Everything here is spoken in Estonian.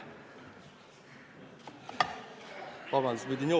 Vabandust!